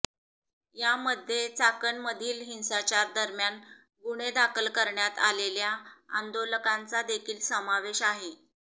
यामध्ये चाकणमधील हिंसाचारा दरम्यान गुन्हे दाखल करण्यात आलेल्या आंदोलकांचा देखील समावेश आहे